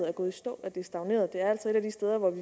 er gået i stå er stagneret det er altså et af de steder hvor vi